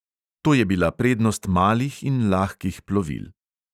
To je bila prednost malih in lahkih plovil.